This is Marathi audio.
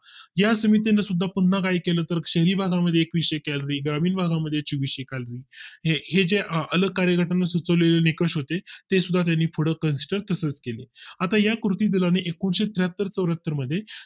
या समितीने सुद्धा पुन्हा काही केलं तर शहरी भागा मध्ये एकविशे calorie ग्रामीण भागा मध्ये एकविशे calorie हे जे अलग कार्यक्रम सुचवले निकष होते ते सुद्धा त्यांनी food construct कसरत केले आता या कृती दला ने एकुणिशे त्र्याहत्तर चौऱ्या हत्तर मध्ये